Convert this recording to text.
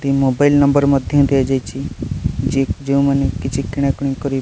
ଏଠି mobile number ମଧ୍ୟ ଦିଆହେଇଚି ଯେଉଁମାନେ କିଛି କିଣାକିଣି କରି --